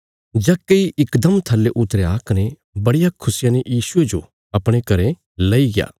जक्कई इकदम थल्ले उतरया कने बड़िया खुशिया ने यीशुये जो अपणे घरें लैईग्या